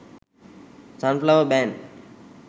sunflower band